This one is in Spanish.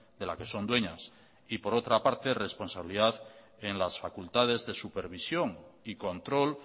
de la que son dueñas y por otra parte responsabilidad en las facultades de supervisión y control